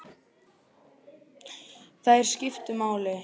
Þær skiptu máli.